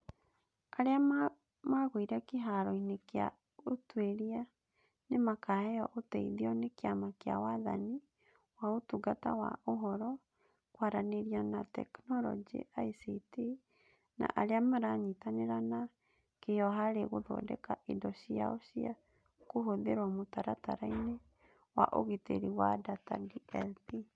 Arĩa magũire kĩharo-inĩ kĩa ũtuĩria nĩ makaheo ũteithio nĩ kĩama kĩa Wathani wa Ũtungata wa Ũhoro, Kwaranĩria na Teknoroji (ICT) na arĩa maranyitanĩra na kĩo harĩ gũthondeka indo ciao cia kũhũthĩrwo mũtaratara-inĩ wa ũgitĩri wa data (DLP).